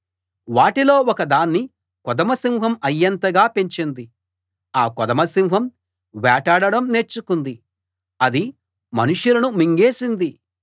వాటిలో ఒక దాన్ని కొదమసింహం అయ్యేంతగా పెంచింది ఆ కొదమసింహం వేటాడడం నేర్చుకుంది అది మనుషులను మింగేసింది